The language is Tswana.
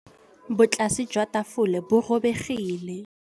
Botlasê jwa tafole bo robegile.